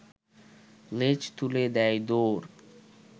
লেজ তুলে দেয় দৌড়